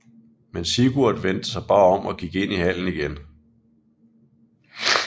Men Sigurd vendte sig bare om og gik ind i hallen igen